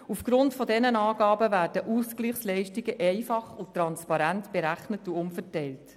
Aufgrund dieser Angaben werden die Ausgleichsleistungen einfach und transparent berechnet und umverteilt.